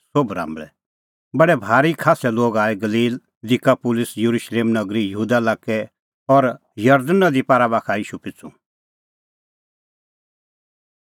बडै भारी खास्सै लोग आऐ गलील दिकापुलिस येरुशलेम नगरी यहूदा लाक्कै और जरदण नदी पारा बाखा का ईशू पिछ़ू